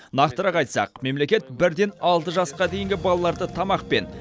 нақтырақ айтсақ мемлекет бір ден алты жасқа дейінгі балаларды тамақпен